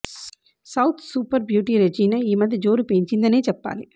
south super beauty Regina ఈ మధ్య జోరు పెంచిందనే చెప్పాలి